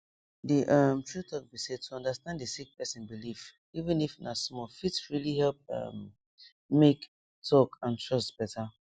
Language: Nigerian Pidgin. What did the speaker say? the um true talk be say to understand a sick person belief even if na small fit really help um make talk and trust better